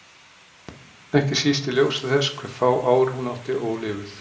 Ekki síst í ljósi þess hve fá ár hún átti ólifuð.